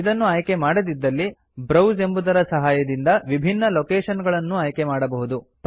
ಇದನ್ನು ಆಯ್ಕೆ ಮಾಡದಿದ್ದಲ್ಲಿ ಬ್ರೌಸ್ ಎಂಬುದರ ಸಹಾಯದಿಂದ ವಿಭಿನ್ನ ಲೊಕೇಶನ್ ಗಳನ್ನೂ ಆಯ್ಕೆಮಾಡಬಹುದು